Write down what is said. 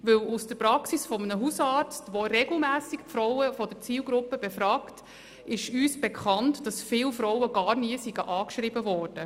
Denn aus der Praxis eines Hausarztes, der regelmässig Frauen der Zielgruppe befragt, ist uns bekannt, dass viele Frauen gar nie angeschrieben wurden.